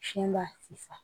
Fiɲɛ b'a fisa